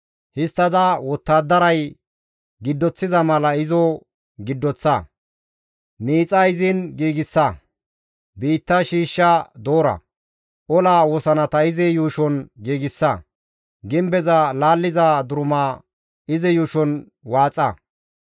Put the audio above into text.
Histtada wottadaray giddoththiza mala izo giddoththa; miixa izin giigsa; biitta shiishsha doora; ola wosanata izi yuushon giigsa; gimbeza laalliza duruma izi yuushon waaxa.